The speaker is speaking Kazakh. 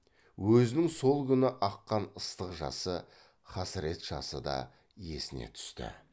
өзінің сол күні аққан ыстық жасы хасірет жасы да есіне түсті